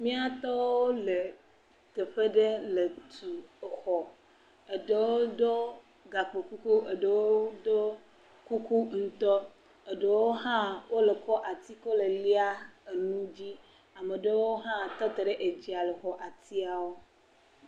Mía tɔwo le teƒe ɖe le tu exɔ, eɖewo do gakpo kuku, eɖewo do kuku ŋutɔ, eɖewo hã wole kɔ ati kɔ le lia enu dzi, ame ɖewo hã wole tɔ te edzia le xɔ atiawo.